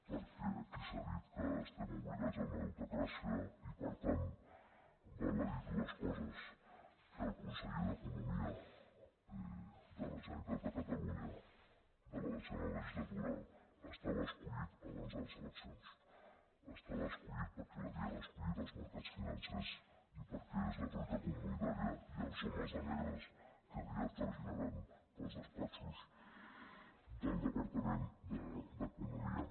perquè aquí s’ha dit que estem obligats a una deutecràcia i per tant val a dir dues coses que el conseller d’economia de la generalitat de catalunya de la desena legislatura estava escollit abans de les eleccions estava escollit perquè l’havien escollit els mercats financers i perquè és la troica comunitària i els homes de negre que aviat traginaran pels despatxos del departament d’economia